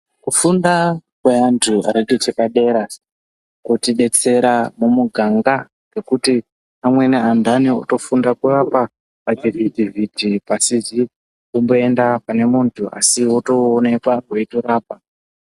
Kufunda kweantu akapedze padera kunotidetsera mumuganga ngekuti amweni antani otofunda kurapa pavhivhiti vhiti asizi kumboenda pane muntu asi otooneka eirapa.